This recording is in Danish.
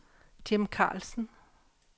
Jim Karlsen